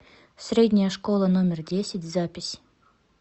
средняя школа номер десять запись